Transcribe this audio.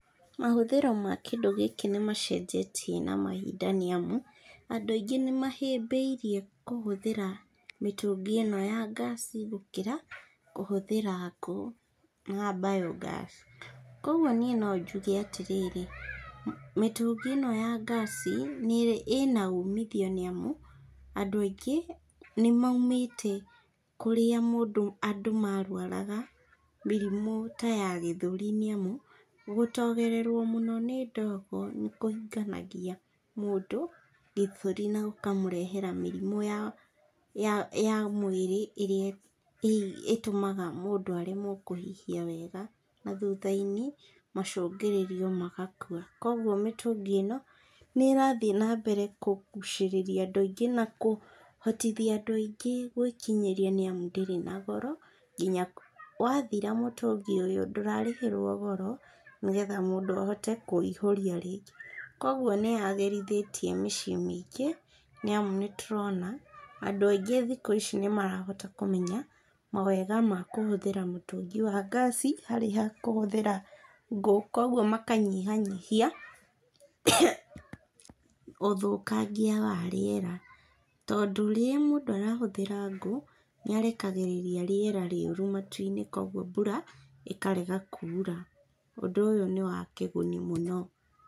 Mahũthĩro ma kĩndũ gĩkĩ nĩmacenjetie na mahinda nĩ amu, andũ aingĩ nĩ mahĩmbĩirie kũhũthĩra mĩtũngi ĩno ya ngasi gũkĩra kũhũthĩra ngũ na biogas kũgwo niĩ no njuge atĩrĩrĩ, mĩtũngi ĩno ya ngasi ĩna ũmithio nĩ amu, andũ aingĩ nĩ maumĩte kũrĩa andũ marwaraga mĩrimũ ta ya gĩthũri, nĩ amu, gũtogererwo mũno nĩ ndogo, nĩkũhinganagia mũndũ gĩthũri, na gũkamũrehera mĩrimũ ya mwĩrĩ ĩrĩa ĩtũmaga mũndũ aremwo kũhihia wega , na thutha-inĩ macũngĩrĩrio magakua, kũgwo mĩtũngi ĩno, nĩ ĩrathiĩ na mbere kũgucĩrĩria andũ aingĩ na kũhotithia andũ aingĩ gwĩkinyiria nĩ amu ndĩrĩ na goro, nginya wathira mũtũngi ũyũ ndũrarĩhĩrwo goro, nĩgetha mũndũ ahote kũihũria rĩngĩ, kũgwo nĩ yagĩrithitie mĩciĩ mĩingĩ , nĩ amu nĩ tũrona andũ aingĩ thikũ ici nĩ marahota kũmenya, mawega ma kũhũthĩra mũtũngi wa ngasi, harĩ ha kũhũthĩra ngũ kũgwo maka nyihanyihia ũthũkagia wa rĩera, tondũ rĩrĩa mũndũ arahũthĩra ngũ nĩ arekagĩrĩria rĩera riũrũ matu-inĩ ,kũgwo mbura ĩkarega kura.